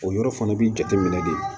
O yɔrɔ fana b'i jateminɛ de